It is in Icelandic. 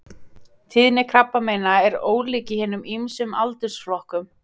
Tíðni krabbameina er ólík í hinum ýmsu aldursflokkum.